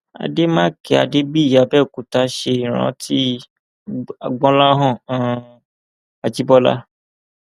àdèmàkè adébíyí àbẹòkúta ṣe é rántí gbọláhàn um ajibọlá